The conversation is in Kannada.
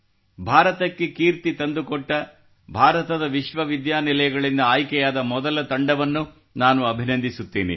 ಭಾರತಕ್ಕೆ ಕೀರ್ತಿ ತಂದುಕೊಟ್ಟ ಭಾರತದ ವಿಶ್ವವಿದ್ಯಾನಿಲಯಗಳಿಂದ ಆಯ್ಕೆಯಾದ ಮೊದಲ ತಂಡವನ್ನು ಅಭಿನಂದಿಸುತ್ತೇನೆ